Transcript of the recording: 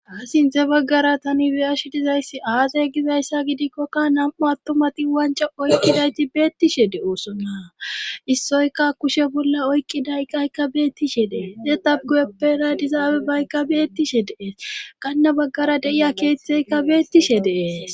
ha sintze baggara tani beyash dizayssi aazey gizayssa gidikkokka nam7u attumati wanco oykkidayti beettishe de7oosona issoyka kushe bolla oykkidaykkaykka beettishe dee de tabgoyeppena dizaabe baykka beettishe dees kanne baggara deiya keeththeykka beettishe dee